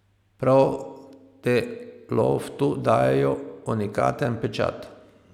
Prav te loftu dajejo unikaten pečat.